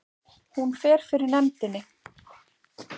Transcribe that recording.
Hún fer fyrir nefndinni